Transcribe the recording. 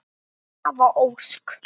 Svava Ósk.